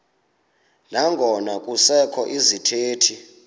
nangona kusekho izithethi